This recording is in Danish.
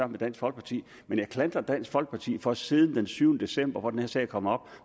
med dansk folkeparti men jeg klandrer dansk folkeparti for at de siden den syvende december da den her sag kom op